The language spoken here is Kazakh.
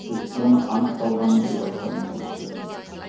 то есть оны аңықталғаны деп айтқанымыз дұрыс сияқты